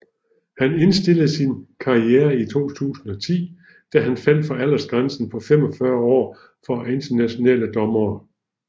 Han indstillede sin karriere i 2010 da han faldt for aldersgrænsen på 45 år for internationale dommere